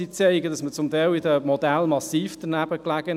Sie zeigen, dass man bei den Modellen teilweise massiv danebenlag.